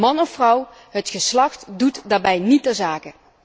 Man of vrouw, het geslacht doet daarbij niet ter zake.